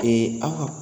aw ka